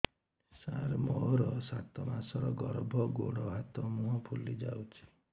ସାର ମୋର ସାତ ମାସର ଗର୍ଭ ଗୋଡ଼ ହାତ ମୁହଁ ଫୁଲି ଯାଉଛି